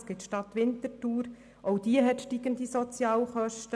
Auch in der Stadt Winterthur steigen die Sozialhilfekosten.